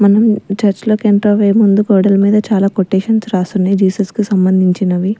మనం చర్చ్ లోకి ఎంట్రవ్వే ముందు గోడల్ మీద చాలా కొటేషన్స్ రాసున్నయ్ జీసస్ కు సంబంధించినవి.